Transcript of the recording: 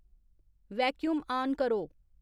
vacuum on करो